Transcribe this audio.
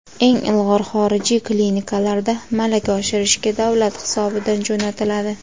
eng ilg‘or xorijiy klinikalarda malaka oshirishga davlat hisobidan jo‘natiladi.